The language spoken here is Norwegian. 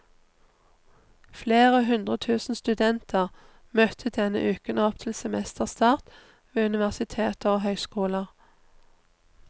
Flere hundre tusen studenter møtte denne uken opp til semesterstart ved universiteter og høyskoler.